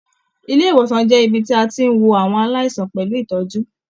Ilé-ìwòsàn jẹ́ ibí tí a tí n wò àwọn aláìsàn pẹlú ìtọ́jú.